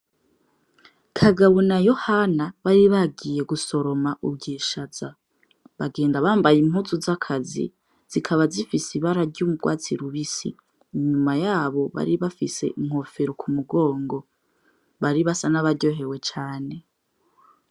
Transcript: Kagabo na Yohana bari bagiye gusoroma ubwishaza, bagenda bambaye impuzu z'akazi zikaba zifis'ibara ry'urwatsi rubisi ,inyuma yabo bari bafis'inkofero k'umugongo bari basa n'abaryohewe cane.